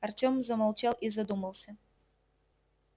артём замолчал и задумался